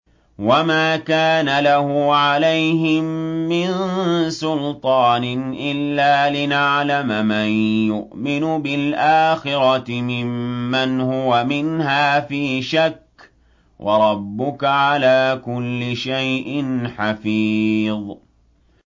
وَمَا كَانَ لَهُ عَلَيْهِم مِّن سُلْطَانٍ إِلَّا لِنَعْلَمَ مَن يُؤْمِنُ بِالْآخِرَةِ مِمَّنْ هُوَ مِنْهَا فِي شَكٍّ ۗ وَرَبُّكَ عَلَىٰ كُلِّ شَيْءٍ حَفِيظٌ